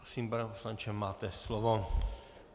Prosím, pane poslanče, máte slovo.